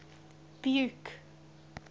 buke